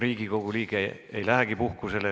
Riigikogu liige ei lähegi puhkusele.